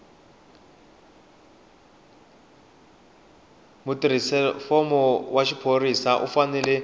mutirhelamfumo wa xiphorisa u fanele